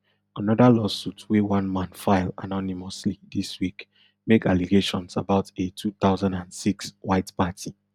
another lawsuit wey one man file anonymously dis week make allegations about a two thousand and six white party